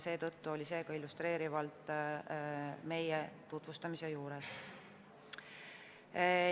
Seetõttu oli see illustreeriv näide tutvustuse juures.